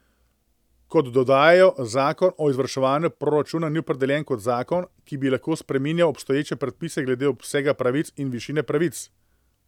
Kot dodajajo, zakon o izvrševanju proračuna ni opredeljen kot zakon, ki bi lahko spreminjal obstoječe predpise glede obsega pravic in višine pravic.